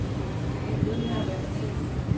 Bliv ved med at være dig selv.